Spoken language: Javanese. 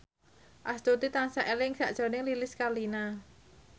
Astuti tansah eling sakjroning Lilis Karlina